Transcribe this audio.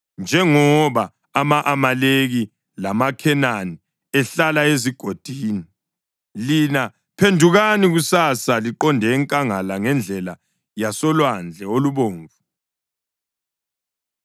Njengoba ama-Amaleki lamaKhenani ehlala ezigodini, lina phendukani kusasa liqonde enkangala ngendlela yasoLwandle oLubomvu.”